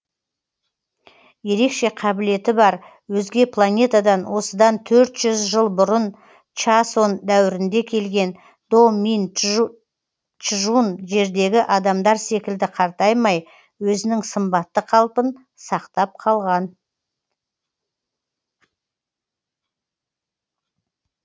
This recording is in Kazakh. ерекше қабілеті бар өзге планетадан осыдан төрт жүз жыл бұрын чосон дәуірінде келген до мин чжун жердегі адамдар секілді қартаймай өзінің сымбатты қалпын сақтап қалған